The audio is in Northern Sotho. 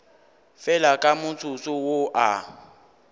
fela ka motsotso wo a